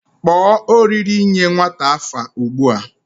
Kpo oriri inye nwata afa ugbua